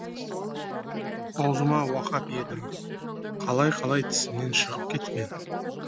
аузыма уақап едім қалай қалай тісімнен шығып кеткен